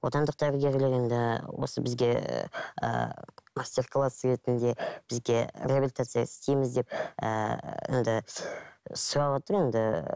отандық дәрігерлер енді осы бізге ыыы мастер класс ретінде бізге реабилитация істейміз деп ыыы енді сұрап отыр енді